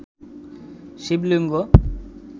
শিবলিঙ্গ